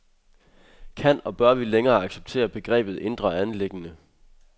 Kan og bør vi længere acceptere begrebet indre anliggende?